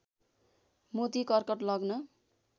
मोती कर्कट लग्न